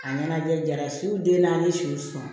A ɲɛnajɛ jara si den naani siw sɔn